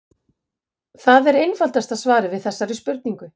Það er einfaldasta svarið við þessari spurningu.